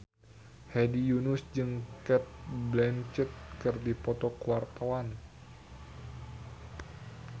Hedi Yunus jeung Cate Blanchett keur dipoto ku wartawan